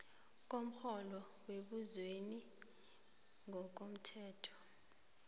komrholo wembusweni ngokomthetho